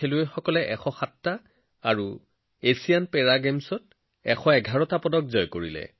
আমাৰ খেলুৱৈসকলে এছিয়ান গেমছত ১০৭টা আৰু এছিয়ান পেৰা গেমছত ১১১টা পদক লাভ কৰিছে